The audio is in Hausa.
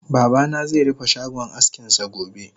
Babana ze rufe shagon askinsa gobe